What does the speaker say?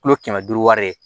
Kilo kɛmɛ duuru wari ye